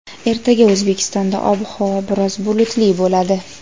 Ertaga O‘zbekistonda ob-havo biroz bulutli bo‘ladi.